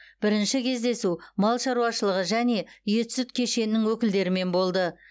бірінші кездесу мал шаруашылығы және ет сүт кешенінің өкілдерімен болды